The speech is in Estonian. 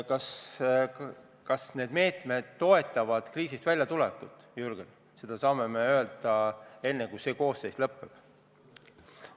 Kas need meetmed toetavad kriisist väljatulekut, seda saame öelda veel enne, kui see koosseis lõpetab.